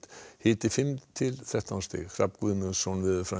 hiti fimm til þrettán stig Hrafn Guðmundsson